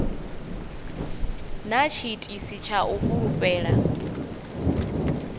na tshiitisi tsha u fulufhela